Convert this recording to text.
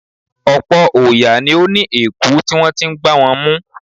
Ọ̀pọ̀̀ òòyà ni ó ní èèkú tí wọ́n ti ń gbá wọn mú.